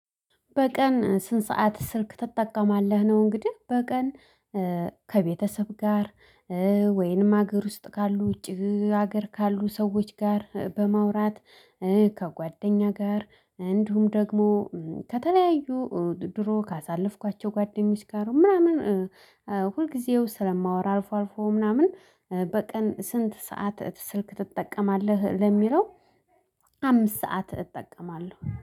በቀን ስንት ሰዓት ስልክ ትጠቀማለህ ነው? እንግዲህ በቀን ከቤተሰብ ጋር ወይንም ሀገር ውስጥ ካሉ ውጪ ሀገር ካሉ ሰዎች ጋር በማውራት ከጓደኛ ጋር እንዲሁም ደግሞ ከተለያዩ ድሮ ካሳለፍኳቸው ጓደኞች ጋር ነው። ምናምን ሁልጊዜው ስለማወራ አልፎ አልፎ ምናምን በቀን ስንት ሰዓት ስልክ ትጠቀማለህ? ለሚለው አምስት ሰዓት እጠቀማለሁ